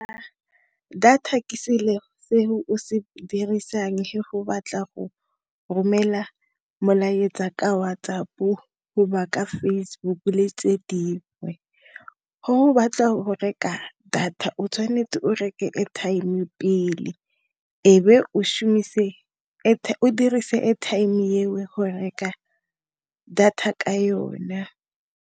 Data ke selo se dirisang ge batla go romela molaetsa ka WhatsApp-o Facebook-u le tse dingwe go o batla go reka data o tshwanetse o reke airtime pele ebe o dirise airtime eo go reka data ka yona.